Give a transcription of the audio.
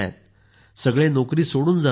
सगळे नोकरी सोडून जात आहेत